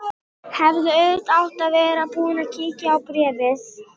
Bóthildur, einhvern tímann þarf allt að taka enda.